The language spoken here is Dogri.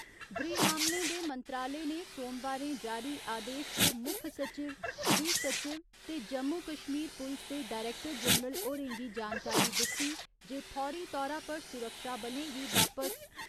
गृह मामले दे मंत्रालय ने सोमवारें जारी आदेश च मुक्ख सचिव, गृह सचिव ते जम्मू कश्मीर पुलस दे डायरैक्टर जनरल होरें गी जानकारी दित्ती जे फौरी तौरा पर सुरक्षाबलें गी वापस